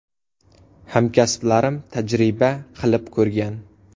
Hamkasblarim tajriba qilib ko‘rgan.